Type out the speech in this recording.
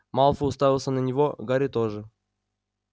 малфой уставился на него гарри тоже